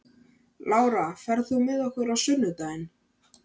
Lára, ferð þú með okkur á sunnudaginn?